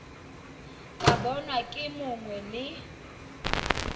ka bonwa ke mongwe le